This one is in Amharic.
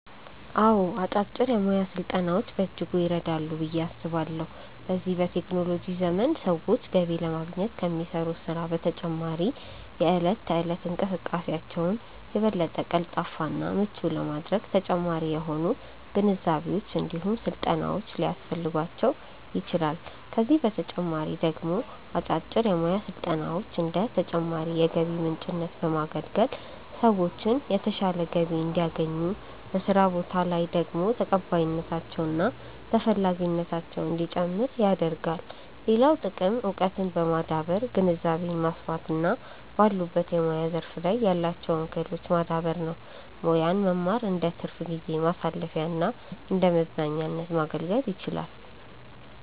አዎ አጫጭር የሙያ ስልጠናዎች በእጅጉ ይረዳሉ ብዬ አስባለሁ። በዚህ በቴክኖሎጂ ዘመን ሰዎች ገቢ ለማግኘት ከሚሰሩት ስራ በተጨማሪ የእለት ተእለት እንቅስቃሴያቸውን የበለጠ ቀልጣፋ እና ምቹ ለማድረግ ተጨማሪ የሆኑ ግንዛቤዎች እንዲሁም ስልጠናዎች ሊያስፈልጓቸው ይችላል፤ ከዚህ በተጨማሪ ደግሞ አጫጭር የሙያ ስልጠናዎች እንደ ተጨማሪ የገቢ ምንጭነት በማገልገል ሰዎችን የተሻለ ገቢ እንዲያገኙ፤ በስራ ቦታ ላይ ደግሞ ተቀባይነታቸው እና ተፈላጊነታቸው እንዲጨምር ያደርጋል። ሌላው ጥቅም እውቀትን በማዳበር ግንዛቤን ማስፋት እና ባሉበት የሙያ ዘርፍ ላይ ያላቸውን ክህሎት ማዳበር ነው። ሙያን መማር እንደትርፍ ጊዜ ማሳለፊያና እንደመዝናኛነት ማገልገል ይችላል።